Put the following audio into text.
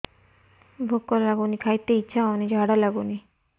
ଭୁକ ଲାଗୁନି ଖାଇତେ ଇଛା ହଉନି ଝାଡ଼ା ଲାଗୁନି